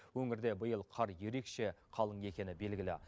өңірде биыл қар ерекше қалың екені белгілі